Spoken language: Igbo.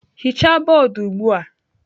Hichaa bọọdụ ugbu a!